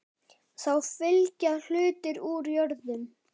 Þá fylgja hlutir úr jörðum.